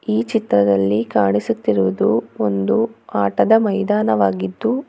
ಈ ಚಿತ್ರದಲ್ಲಿ ಕಾಣಿಸುತ್ತಿರುವುದು ಒಂದು ಆಟದ ಮೈದಾನವಾಗಿದ್ದು--